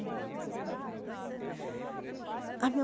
o que é que vocês plantavam? Ah meu